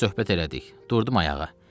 Bir az söhbət elədik, durdum ayağa.